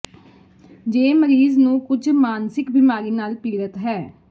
ਜੇ ਮਰੀਜ਼ ਨੂੰ ਕੁਝ ਮਾਨਸਿਕ ਬੀਮਾਰੀ ਨਾਲ ਪੀੜਤ ਹੈ